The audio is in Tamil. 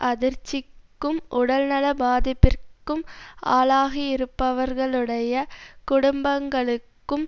அதிர்ச்சிக்கும் உடல்நல பாதிப்பிற்கும் ஆளாகியிருப்பவர்களுடைய குடும்பங்களுக்கும்